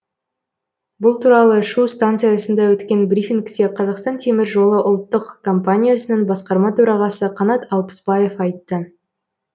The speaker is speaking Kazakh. бұл туралы шу станциясында өткен брифингте қазақстан темір жолы ұлттық компаниясының басқарма төрағасы қанат алпысбаев айтты